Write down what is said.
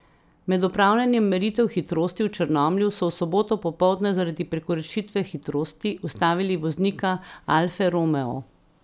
Med opravljanjem meritev hitrosti v Črnomlju so v soboto popoldne zaradi prekoračitve hitrosti ustavili voznika alfe romeo.